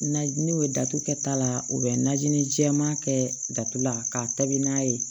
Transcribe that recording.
Na n'u ye datugu kɛta la u bɛ najini jɛma kɛ datugula ka taabi n'a ye